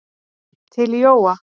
Til Jóa.